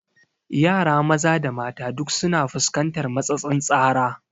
Yara maza da mata duk su na fuskantar matsatsin tsara